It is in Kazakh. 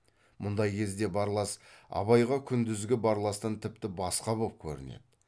мұндай кезде барлас абайға күндізгі барластан тіпті басқа боп көрінеді